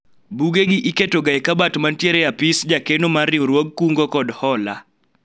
buge gi iketo ga e kabat mantiere e apis jakeno mar riwruog kungo kod hola